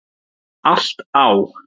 Allt á